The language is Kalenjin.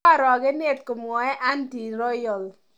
koorokenet..."komwoe Andy Royal.